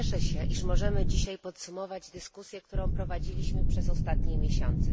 Cieszę się, iż możemy dzisiaj podsumować dyskusję, którą prowadziliśmy przez ostatnie miesiące.